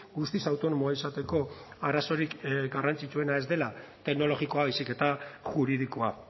guztiz autonomoa izateko arazorik garrantzitsuena ez dela teknologikoa baizik eta juridikoa